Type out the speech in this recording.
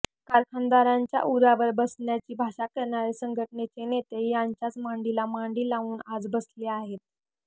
कारखानदारांच्या उरावर बसण्याची भाषा करणारे संघटनेचे नेते त्यांच्याच मांडीला मांडी लावून आज बसले आहेत